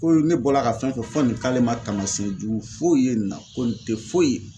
Ko ne bɔla ka fɛn fɛn fɔ nin k'ale ma taamasiyɛn jugu foyi ye nin na .Ko nin tɛ foyi ye.